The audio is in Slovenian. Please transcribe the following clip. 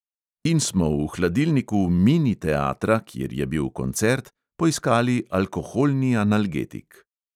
In smo v hladilniku mini teatra, kjer je bil koncert, poiskali alkoholni analgetik.